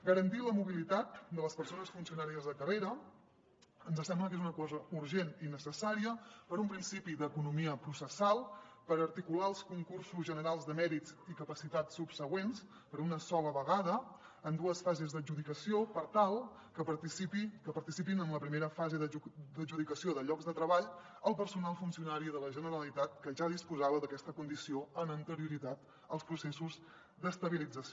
garantir la mobilitat de les persones funcionàries de carrera ens sembla que és una cosa urgent i necessària per un principi d’economia processal per articular els concursos generals de mèrits i capacitats subsegüents per una sola vegada en dues fases d’adjudicació per tal que participi en la primera fase d’adjudicació de llocs de treball el personal funcionari de la generalitat que ja disposava d’aquesta condició amb anterioritat als processos d’estabilització